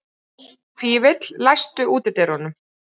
Fífill, læstu útidyrunum.